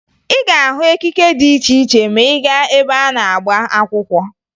Ị ga-ahụ ekike dị iche iche ma ị gaa ebe a na-agba akwụkwọ